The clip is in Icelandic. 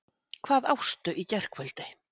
Hvað ástu í gærkvöldi?